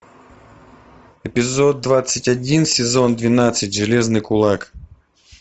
эпизод двадцать один сезон двенадцать железный кулак